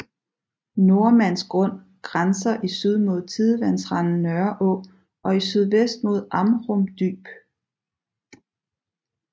Nordmands Grund grænser i syd mod tidevandsrenden Nørreå og i sydvest mod Amrum Dyb